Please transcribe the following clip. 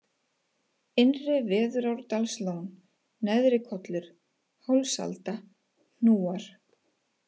Innra-Veðurárdalslón, Neðrikollur, Hálsalda, Hnúar